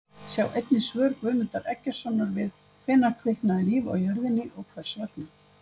Sjá einnig svör Guðmundar Eggertssonar við Hvenær kviknaði líf á jörðinni og hvers vegna?